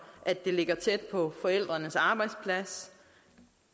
at det ligger tæt på forældrenes arbejdsplads